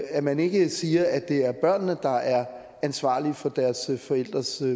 at man ikke siger at det er børnene der er ansvarlige for deres forældres